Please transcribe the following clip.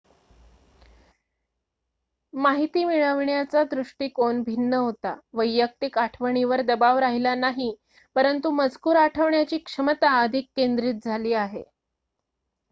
माहिती मिळवण्याचा दृष्टीकोन भिन्न होता वैयक्तिक आठवणीवर दबाव राहिला नाही परंतु मजकूर आठवण्याची क्षमता अधिक केंद्रित झाली आहे